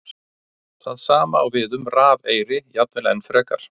Það sama á við um rafeyri, jafnvel enn frekar.